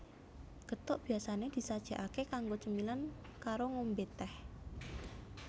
Gethuk biasané disajèkaké kanggo cemilan karo ngombé tèh